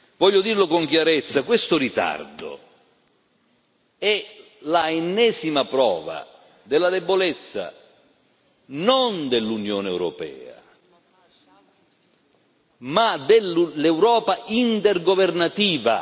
Voglio dirlo con chiarezza questo ritardo è l'ennesima prova della debolezza non dell'Unione europea ma dell'Europa intergovernativa.